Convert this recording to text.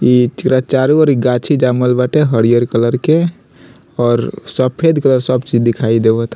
ई चुरा चारो और गाछी जमल बाटे हरिअर कलर के और सफेद कलर सब चीज़ दिखाई देवत --